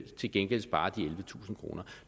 til gengæld spare de ellevetusind kroner